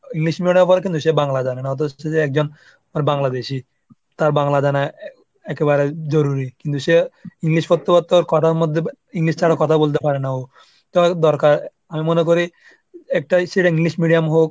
English medium এ পড়ে কিন্তু সে বাংলা জানে না অথচ যে একজন আর বাংলাদেশী তার একেবারে জরুরি কিন্তু সে English পত্রপাত্র কোটার মধ্যে English টা আর কথা বলতে পারে না ও তো দরকার আমি মনে করি একটা English medium হোক